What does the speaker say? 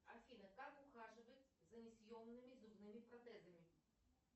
афина как ухаживать за несъемными зубными протезами